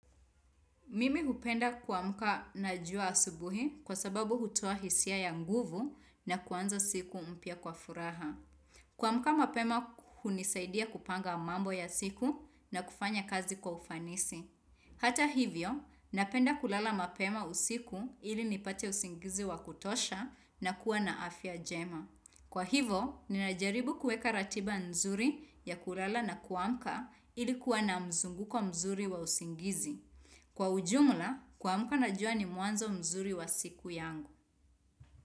Mimi hupenda kuamka na jua asubuhi kwa sababu hutoa hisia ya nguvu na kwanza siku mpya kwa furaha. Kuamka mapema hunisaidia kupanga mambo ya siku na kufanya kazi kwa ufanisi. Hata hivyo, napenda kulala mapema usiku ili nipate usingizi wa kutosha na kuwa na afya jema. Kwa hivo, ninajaribu kueka ratiba nzuri ya kulala na kuamka ili kuwa na mzunguko mzuri wa usingizi. Kwa ujumla, kuamka najua ni mwanzo mzuri wa siku yangu.